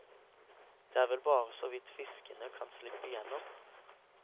Det er vel bare så vidt fiskene kan slippe gjennom.